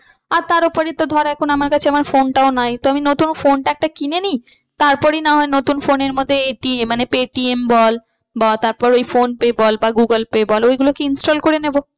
আর তার ওপরে তো ধর এখন আমার কাছে আমার phone টাও নাই তো আমি নতুন phone টা একটা কিনে নিই তার পরই না হয় নতুন phone এর মধ্যে ATM মানে পেটিএম বল বা তারপর ওই ফোনপে বল বা গুগল পে বল ওই গুলো install করে নেবো।